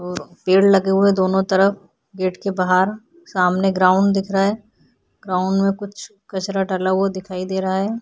अ पेड़ लगे हुए हैं दोनों तरफ। गेट के बाहर सामने ग्राउंड दिख रहा है। ग्राउंड में कुछ कचरा डाला हुआ दिखाई दे रहा है।